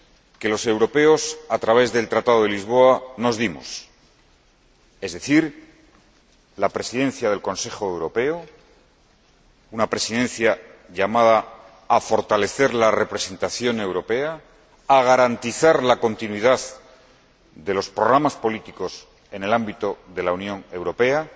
que los europeos, a través del Tratado de Lisboa, nos dimos es decir, la Presidencia del Consejo Europeo, una Presidencia llamada a fortalecer la representación europea, a garantizar la continuidad de los programas políticos en el ámbito de la Unión Europea,